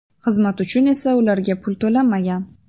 Xizmat uchun esa ularga pul to‘lanmagan.